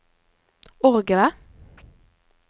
orgelet